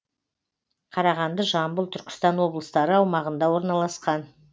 қарағанды жамбыл түркістан облыстары аумағында орналасқан